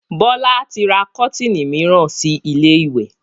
Bọlá tí ra kọ́tiinì miran si ilé ìwẹ̀